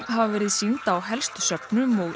hafa verið sýnd á helstu söfnum og